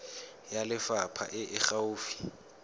ya lefapha e e gaufi